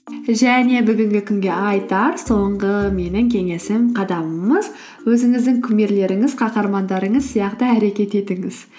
және бүгінгі күнге айтар соңғы менің кеңесім қадамымыз өзіңіздің кумирлеріңіз қаһармандарыңыз сияқты әрекет етіңіз